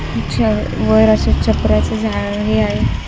तिच्यावर वर असं छपऱ्याचं झा हे आहे.